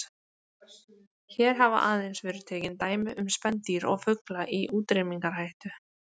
Hér hafa aðeins verið tekin dæmi um spendýr og fugla í útrýmingarhættu.